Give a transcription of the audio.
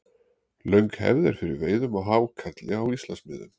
löng hefð er fyrir veiðum á hákarli á íslandsmiðum